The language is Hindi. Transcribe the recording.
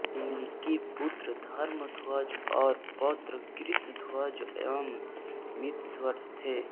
इनके पुत्र धर्मध्वज और पौत्र कृतध्वज एवं मितध्वज थे